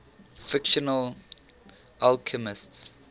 fictional alchemists